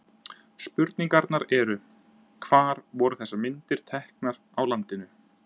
Spurningarnar eru: Hvar voru þessar myndir teknar á landinu?